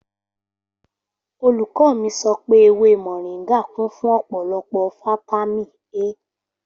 Olùkò mi sọ̀pẹ èwé moringà kun fun ọ̀pọlòpọ fàtàmí A